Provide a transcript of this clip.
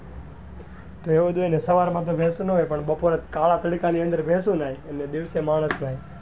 તો એવું જ હોય ને સવાર માં તો ભેશો નાં હોય્ય પણ બપોરે કળા પાલીતા ની અંદર ભેશો નાય એટલે દિવસે માનસ જાય.